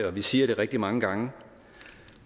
og vi siger det rigtig mange gange